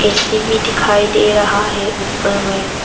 AC दिखाई दे रहा है ऊपर में।